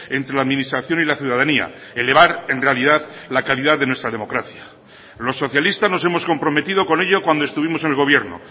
entre la administración y la ciudadanía elevar en realidad la calidad de nuestra democracia los socialistas nos hemos comprometido con ello cuando estuvimos en el gobierno